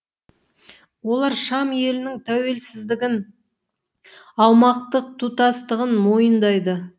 олар шам елінің тәуелсіздігін аумақтық тұтастығын мойындайды